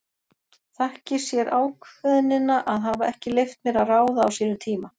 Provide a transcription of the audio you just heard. Þakki sér ákveðnina að hafa ekki leyft mér að ráða á sínum tíma.